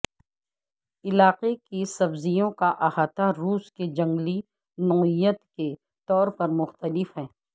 علاقے کے سبزیوں کا احاطہ روس کے جنگلی نوعیت کے طور پر مختلف ہے